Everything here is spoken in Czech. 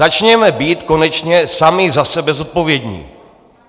Začněme být konečně sami za sebe zodpovědní.